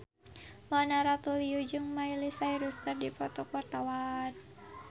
Mona Ratuliu jeung Miley Cyrus keur dipoto ku wartawan